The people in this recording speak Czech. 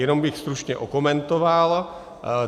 Jenom bych stručně okomentoval.